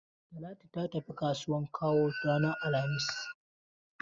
Talatu ta tafi kasuwan Kawo ranar alhamis.